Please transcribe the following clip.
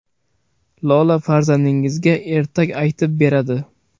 Lola farzandingizga ertak aytib beradi.